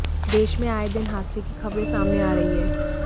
देश में आए दिन हादसे की खबरें सामने आ रहीं हैं